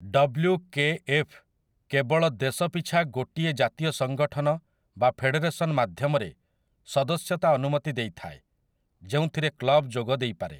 W K F କେବଳ ଦେଶ ପିଛା ଗୋଟିଏ ଜାତୀୟ ସଙ୍ଗଠନ ବା ଫେଡେରେସନ୍ ମାଧ୍ୟମରେ ସଦସ୍ୟତା ଅନୁମତି ଦେଇଥାଏ ଯେଉଁଥିରେ କ୍ଲବ୍‌ ଯୋଗ ଦେଇପାରେ ।